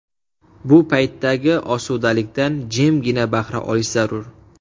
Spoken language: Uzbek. Bu paytdagi osudalikdan jimgina bahra olish zarur.